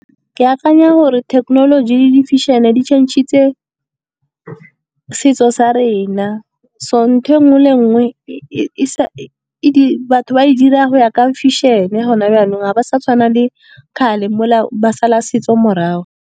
Ke akanya gore thekenoloji le di-fashion-e di change-ile setso sa rena. So ntho e nngwe le nngwe batho ba e dira go ya ka fashion-e gone jaanong, ga ba sa tshwana le kgale mo le ba sala setso morago.